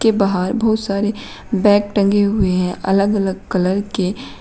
बाहर बहोत सारे बैग टंगे हुए हैं अलग अलग कलर के।